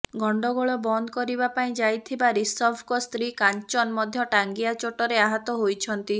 ଗଣ୍ଡଗୋଳ ବନ୍ଦ କରିବା ପାଇଁ ଯାଇଥିବା ଋଷଭଙ୍କ ସ୍ତ୍ରୀ କାଞ୍ଚନ ମଧ୍ୟ ଟାଙ୍ଗିଆ ଚୋଟରେ ଆହତ ହୋଇଛନ୍ତି